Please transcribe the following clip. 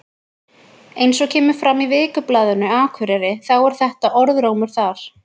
Eins og kemur fram í Vikublaðinu Akureyri þá er þetta orðrómur þar.